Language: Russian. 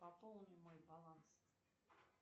пополни мой баланс